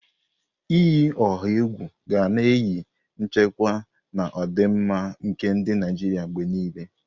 Iyi ọha egwu ga na-eyi nchekwa na ọdịmma nke ndị Naijiria mgbe niile.